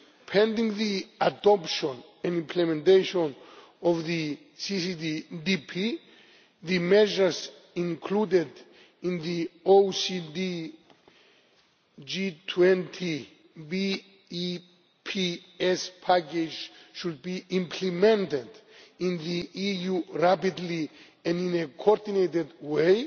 Pending the adoption and implementation of the CCCTB, the measures included in the OECD G20 BEPS package should be implemented in the EU rapidly and in a coordinated way.